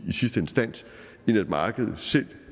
i sidste instans end at markedet selv